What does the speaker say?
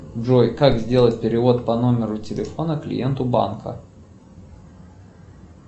джой как сделать перевод по номеру телефона клиенту банка